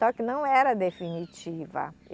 Só que não era definitiva.